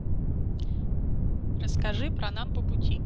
расскажи про нам по пути